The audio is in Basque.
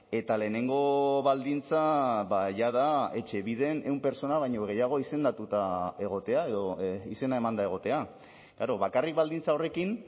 eta lehenengo baldintza jada etxebiden ehun pertsona baino gehiago izendatuta egotea edo izena emanda egotea bakarrik baldintza horrekin